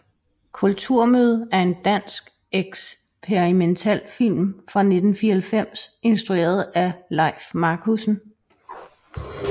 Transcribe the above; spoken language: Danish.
Kulturmøde er en dansk eksperimentalfilm fra 1994 instrueret af Lejf Marcussen